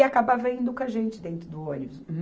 E acabava indo com a gente dentro do ônibus.